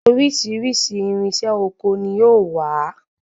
Oríṣiríṣi irinṣẹ́ ọkọ ni ó wà.